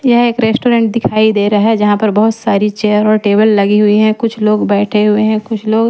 यह एक रेस्टोरेंट दिखाई दे रहा है जहां पर बहुत सारी चेयर और टेबल लगी हुई हैं। कुछ लोग बैठे हुए है कुछ लोग--